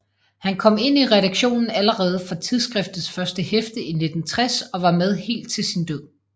Han kom ind i redaktionen allerede fra tidsskriftets første hæfte i 1960 og var med helt til sin død